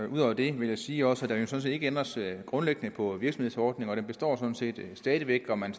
ud over det vil jeg sige at der sådan set ikke ændres grundlæggende på virksomhedsordningen og den består sådan set stadig væk og man